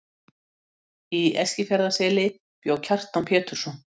Í Eskifjarðarseli bjó Kjartan Pétursson.